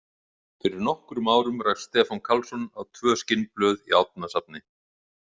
Fyrir nokkrum árum rakst Stefán Karlsson á tvö skinnblöð í Árnasafni.